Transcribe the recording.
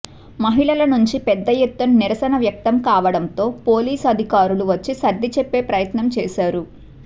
మహిళల నుంచి పెద్ద ఎత్తున నిరసన వ్యక్తం కావడంతో పోలీసు అధికారులు వచ్చి సర్ది చెప్పే ప్రయత్నం చేశారు